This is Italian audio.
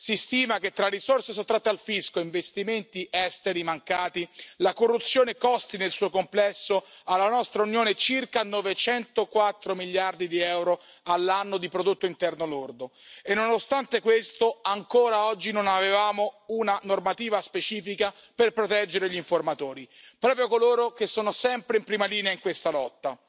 Si stima che, tra risorse sottratte al fisco e investimenti esteri mancati, la corruzione costi nel suo complesso, alla nostra Unione, circa 904 miliardi di euro all'anno di prodotto interno lordo e, nonostante questo, ancora oggi, non avevamo una normativa specifica per proteggere gli informatori, proprio coloro che sono sempre in prima linea in questa lotta.